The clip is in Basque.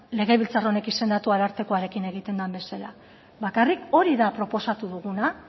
legebiltzar honek izendatu arartekoarekin egiten den bezala bakarrik hori da proposatu duguna